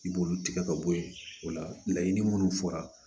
I b'olu tigɛ ka bɔ yen o laɲini minnu fɔra